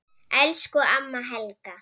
Elsku amma Helga.